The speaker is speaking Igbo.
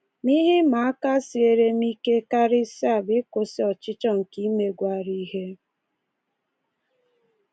Ma ihe ịma aka siere m ike karịsịa bụ ịkwụsị ọchịchọ nke imegwara ihe.